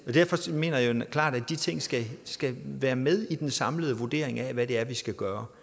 mener jeg klart at de ting skal skal være med i den samlede vurdering af hvad det er vi skal gøre